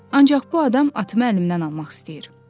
Ancaq bu adam atımı əlimdən almaq istəyir.”